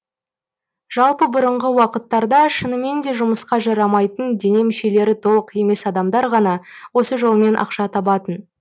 жалпы бұрынғы уақыттарда шынымен де жұмысқа жарамайтын дене мүшелері толық емес адамдар ғана осы жолмен ақша табатын